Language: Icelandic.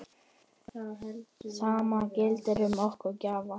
Sama gildir um okkar gjafir.